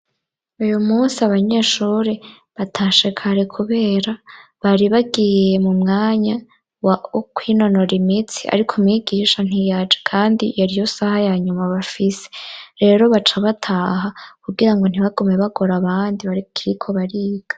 Uyumunsi abanyeshuri batashe kare kubera bari bagiye m'umwanya wo kwinonora imitsi ariko mwigisha ntiyaje kandi yariyo saha yanyuma bafise. Rero baca bataha kugirango ntibagumeyo bagora abandi bakiriko bariga.